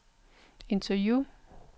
interview